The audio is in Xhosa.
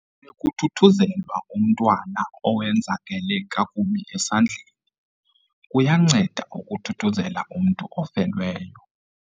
Bekuthuthuzelwa umntwana owenzakele kakubi esandleni. kuyanceda ukuthuthuzela umntu ofelweyo